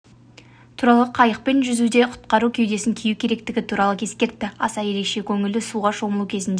туралы қайықпен жүзуде құтқару кеудесін кию керектігі туралы ескертті аса ерекше көңілді суға шомылу кезінде